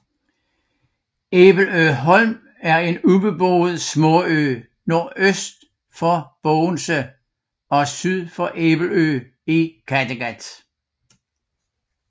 Æbeløholm er en ubeboet småø nordøst for Bogense og syd for Æbelø i Kattegat